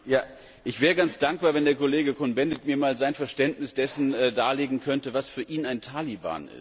Ich wäre ganz dankbar, wenn der Kollege Cohn Bendit mir einmal sein Verständnis dessen darlegen könnte, was für ihn ein Taliban ist.